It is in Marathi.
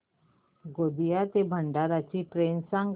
गोंदिया ते भंडारा ची ट्रेन सांग